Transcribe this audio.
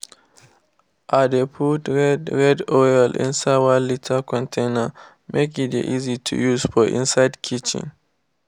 i dey put red red oil inside one liter container make e dey easy to use for inside kitchen.